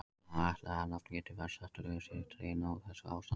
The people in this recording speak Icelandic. Má ætla að nafngiftin svartidauði sé dregin af þessu ástandi.